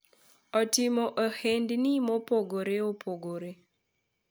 otimo ohandni mopogore opogore